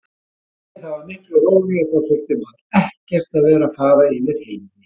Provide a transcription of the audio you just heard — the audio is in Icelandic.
Nei, það var miklu rólegra, þá þurfti maður ekkert að vera að fara yfir heiði.